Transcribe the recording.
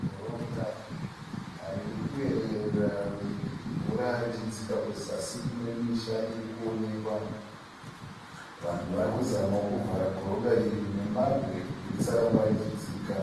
Goronga ririkuyerera mvura richidzika zasi kune misha irikuonekwa Vanhu varikuzamawo kuvhara ngoronga iri nemabwe kuti risaramba richidzika .